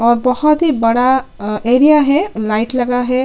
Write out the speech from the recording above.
और बहोत ही बड़ा एरिया है लाइट लगा है।